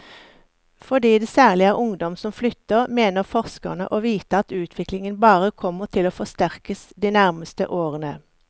Fordi det særlig er ungdom som flytter, mener forskerne å vite at utviklingen bare kommer til å forsterkes de nærmeste årene.